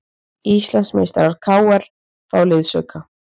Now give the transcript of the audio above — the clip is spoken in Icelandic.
Íslandsmeistarar KR fá liðsauka